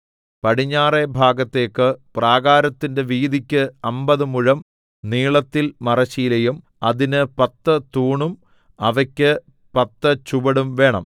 പടിഞ്ഞാറെ ഭാഗത്തേക്ക് പ്രാകാരത്തിന്റെ വീതിക്ക് അമ്പത് മുഴം നീളത്തിൽ മറശ്ശീലയും അതിന് പത്ത് തൂണും അവയ്ക്ക് പത്ത് ചുവടും വേണം